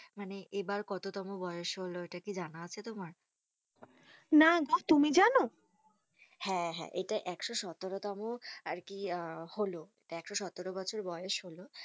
মানে এবার কত তোমো বয়েস হল ইটা কি জানা আছে তোমার? না গো তুমি জানো? হেঁ, হেঁ, ইটা একশো সতেরো তোমো আর কি আহ হল একশো সতরো বছর বয়েস হল,